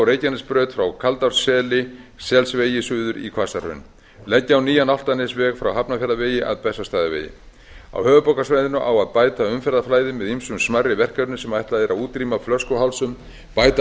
reykjanesbraut frá kaldárselsvegi suður í hvassahraun leggja á nýjan álftanesveg frá hafnarfjarðarvegi að bessastaðavegi á höfuðborgarsvæðinu á að bæta umferðarflæði með ýmsum smærri verkefnum sem ætlað er að útrýma flöskuhálsum bæta